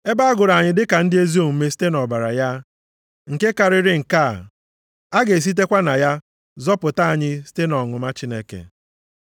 Ebe a gụrụ anyị dịka ndị ezi omume site nʼọbara ya, nke karịrị nke a, a ga-esitekwa na ya zọpụta anyị site nʼọnụma Chineke.